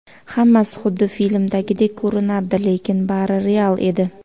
Hammasi xuddi filmdagidek ko‘rinardi, lekin bari real edi.